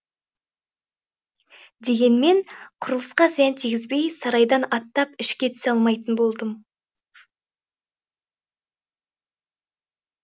дегенмен құрылысқа зиян тигізбей сарайдан аттап ішке түсе алмайтын болдым